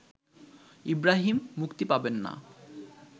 ইব্রাহিম মুক্তি পাবেন না